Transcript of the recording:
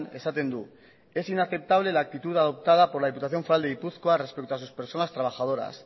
esaten du es inaceptable la actitud adoptada por la diputación foral de gipuzkoa respecto a sus personas trabajadoras